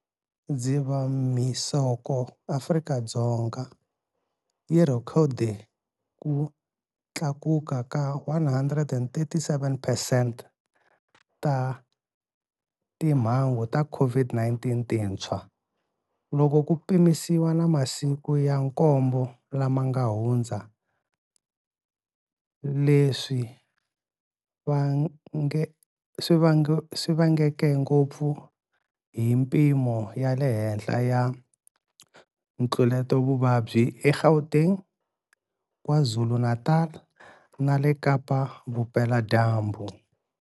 Dzivamisoko Afrika-Dzonga yi rhekhode ku tlakuka ka 137 peercent ta timhangu ta COVID-19 tintshwa, loko ku pimanisiwa na masiku ya nkombo lama nga hundza, leswi vangeke ngopfu hi mipimo ya le henhla ya ntluletavuvabyi eGauteng, KwaZulu-Natal na le Kapa-Vupeladyambu.